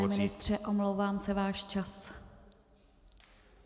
Pane ministře, omlouvám se, váš čas.